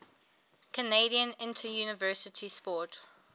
canadian interuniversity sport